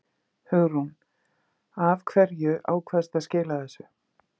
Hugrún: Af hverju ákvaðstu að skila þessu?